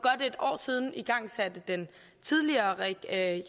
siden igangsatte den tidligere regering